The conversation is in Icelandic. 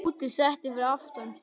Tóti settist fyrir aftan.